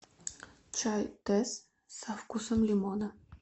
чай тесс со вкусом лимона